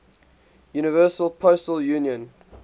universal postal union